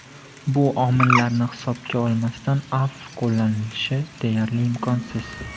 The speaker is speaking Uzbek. Bu omillarni hisobga olmasdan afv qo‘llanishi deyarli imkonsiz.